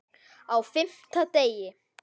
Á FIMMTA DEGI